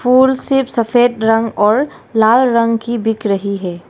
फूल सिर्फ सफ़ेद रंग और लाल रंग की बिक रही है।